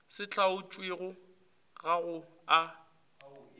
se hlaotšwego ga go a